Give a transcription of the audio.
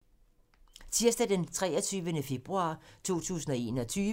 Tirsdag d. 23. februar 2021